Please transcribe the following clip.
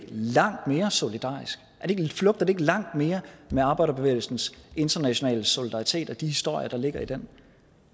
langt mere solidarisk flugter det ikke langt mere med arbejderbevægelsens internationale solidaritet og de historier der ligger i den